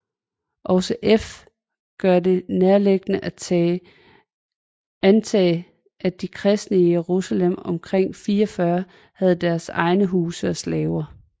Også f gør det nærliggende at antage at de kristne i Jerusalem omkring 44 havde deres egne huse og slaver